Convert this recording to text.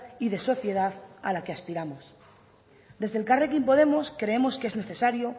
y de sociedad a la que aspiramos desde elkarrekin podemos creemos que es necesario